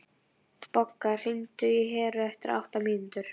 Bogga, hringdu í Heru eftir átta mínútur.